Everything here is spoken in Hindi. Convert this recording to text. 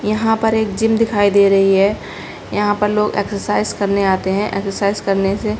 यहाँ पर एक जिम दिखाई दे रही है यहाँ पर लोग एक्सर्साइज़ करने आते है एक्सर्साइज़ करने से --